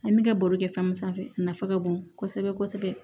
An bɛ ka baro kɛ fɛn mun sanfɛ a nafa ka bon kosɛbɛ kosɛbɛ